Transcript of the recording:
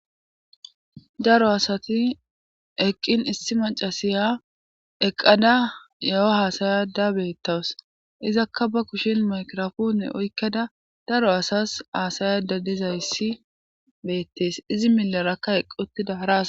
Daro asati eqqin issi macasiya eqqada ya'o haasayada beettawus izakka ba kushin makrafoone oykkada daro asas haasayada dizayssi beettees izi millarakka eqquttida ara.